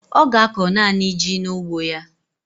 Ọ ga-akọ naanị ji n'ugbo ya.